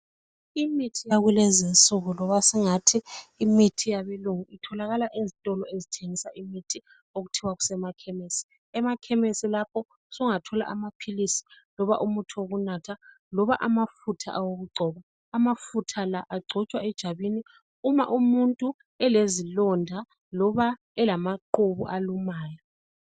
Imithi yakulezi insuku loba singathi Imithi eyabelungu itholakala ezitolo ezithengisa imithi okuthiwa kusemakhemesi , emakemesi lapho sungathola amaphilisi loba umuthi wokunatha loba amafutha okugcoba amafutha la agcotshwa ejwabini uma umuntu elezilonda loba amaqhubu alumayo.